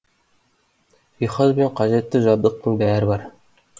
жиһаз бен қажетті жабдықтың бәрі бар